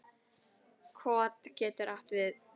Kot getur átt við